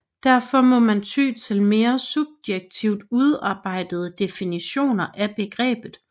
Derfor må man ty til mere subjektivt udarbejdede definitioner af begrebet